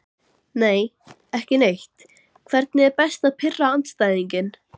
Nei, ekki neitt Hvernig er best að pirra andstæðinginn?